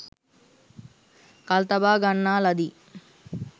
කල්තබා ගන්නා ලදී